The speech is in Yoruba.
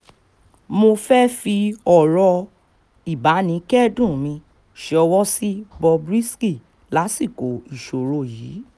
mo fẹ́ẹ́ fi ọ̀rọ̀ ìbánikẹ́dùn mi ṣọwọ́ sí bob risky lásìkò ìṣòro yìí